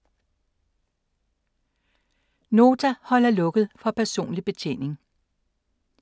Nota holder lukket for personlig betjening